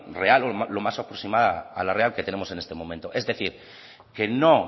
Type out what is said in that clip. real o lo más aproximada a lo real que tenemos en este momento es decir que no